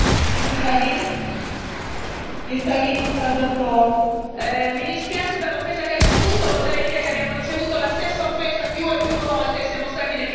Signora Presidente, mi dispiace per l'offesa che ha ricevuto, potrei dire che abbiamo ricevuto la stessa offesa più e più volte, siamo stati definiti fascisti.